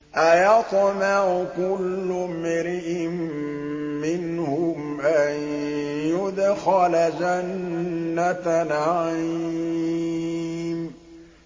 أَيَطْمَعُ كُلُّ امْرِئٍ مِّنْهُمْ أَن يُدْخَلَ جَنَّةَ نَعِيمٍ